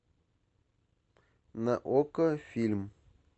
на окко фильм